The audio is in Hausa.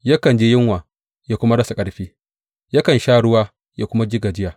Yakan ji yunwa ya kuma rasa ƙarfi; yakan sha ruwa ya kuma ji gajiya.